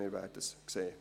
Wir werden es sehen.